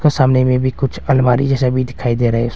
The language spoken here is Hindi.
सामने मे भी कुछ अलमारी जैसा भी दिखाई दे रा है।